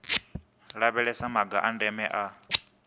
lavhelesa maga a ndeme a